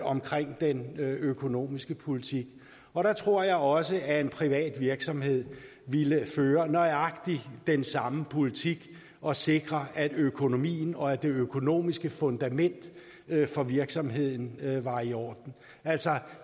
omkring den økonomiske politik og der tror jeg også at en privat virksomhed ville føre nøjagtig den samme politik og sikre at økonomien og det økonomiske fundament for virksomheden var i orden altså